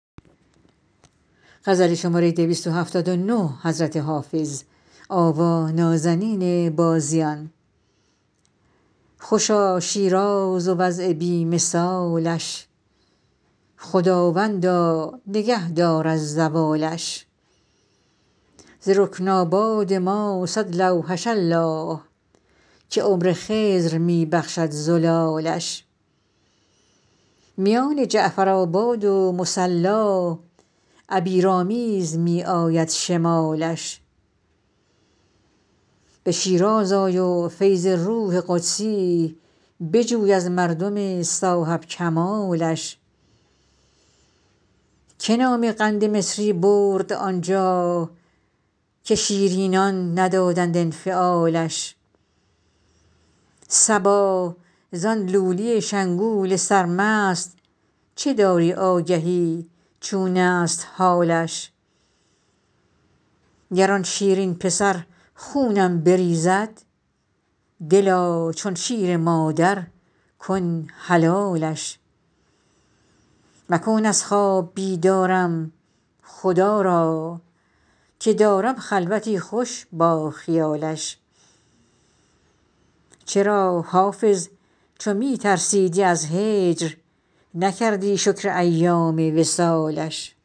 خوشا شیراز و وضع بی مثالش خداوندا نگه دار از زوالش ز رکن آباد ما صد لوحش الله که عمر خضر می بخشد زلالش میان جعفرآباد و مصلا عبیرآمیز می آید شمالش به شیراز آی و فیض روح قدسی بجوی از مردم صاحب کمالش که نام قند مصری برد آنجا که شیرینان ندادند انفعالش صبا زان لولی شنگول سرمست چه داری آگهی چون است حالش گر آن شیرین پسر خونم بریزد دلا چون شیر مادر کن حلالش مکن از خواب بیدارم خدا را که دارم خلوتی خوش با خیالش چرا حافظ چو می ترسیدی از هجر نکردی شکر ایام وصالش